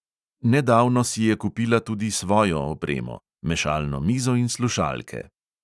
Nedavno si je kupila tudi svojo opremo – mešalno mizo in slušalke.